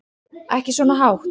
Ekki svona hátt.